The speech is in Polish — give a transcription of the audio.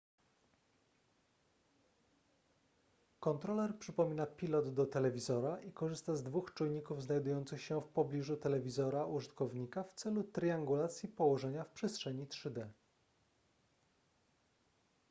kontroler przypomina pilot do telewizora i korzysta z dwóch czujników znajdujących się w pobliżu telewizora użytkownika w celu triangulacji położenia w przestrzeni 3d